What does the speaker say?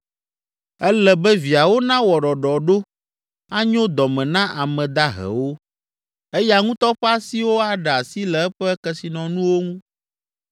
Ele be viawo nawɔ ɖɔɖɔɖo anyo dɔ me na ame dahewo, eya ŋutɔ ƒe asiwo aɖe asi le eƒe kesinɔnuwo ŋu.